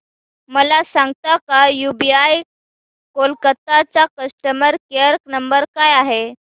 मला सांगता का यूबीआय कोलकता चा कस्टमर केयर नंबर काय आहे